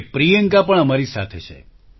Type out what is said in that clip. okay Priyanka પણ અમારી સાથે છે